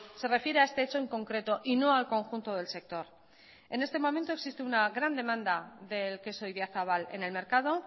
se refiere a este hecho en concreto y no al conjunto del sector en este momento existe una gran demanda del queso idiazabal en el mercado